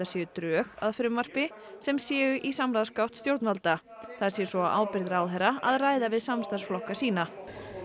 séu drög að frumvarpi sem séu nú í samráðsgátt stjórnvalda það sé svo á ábyrgð ráðherra að ræða við samstarfsflokka sína